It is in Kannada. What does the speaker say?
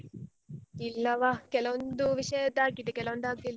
ಇಲ್ಲವ ಕೆಲವೊಂದು ವಿಷಯದ್ ಆಗಿದೆ ಕೆಲವೊಂದು ಆಗ್ಲಿಲ್ಲ.